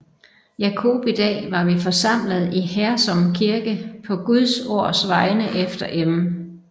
Jacobi Dag var vi forsamlede i Hersom Kirke på Guds Ords Vegne efter M